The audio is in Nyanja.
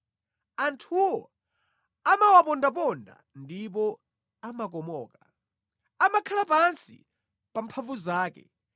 Anthuwo amawapondaponda ndipo amakomoka; amakhala pansi pa mphamvu zake.